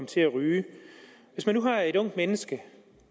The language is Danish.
til at ryge hvis man nu har et ungt menneske